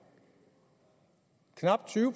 knap tyve